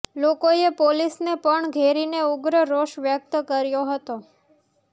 લોકોએ પોલીસને પણ ઘેરીને ઉગ્ર રોષ વ્યક્ત કર્યો હતો